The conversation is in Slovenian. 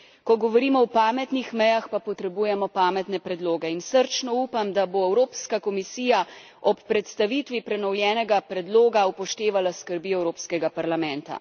Ko govorimo o pametnih mejah, pa potrebujemo pametne predloge in srčno upam, da bo Evropska komisija ob predstavitvi prenovljenega predloga upoštevala skrbi Evropskega parlamenta.